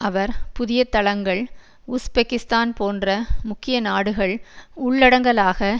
அவர் புதிய தளங்கள் உஸ்பெக்கிஸ்தான் போன்ற முக்கிய நாடுகள் உள்ளடங்கலாக